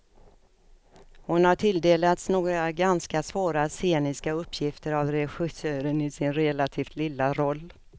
Hon har tilldelats några ganska svåra sceniska uppgifter av regissören i sin relativt lilla roll.